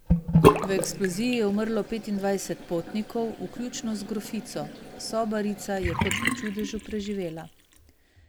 V eksploziji je umrlo petindvajset potnikov, vključno z grofico, sobarica je kot po čudežu preživela.